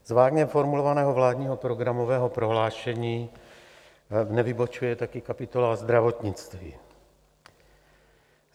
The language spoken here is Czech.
Z vágně formulovaného vládního programového prohlášení nevybočuje také kapitola zdravotnictví.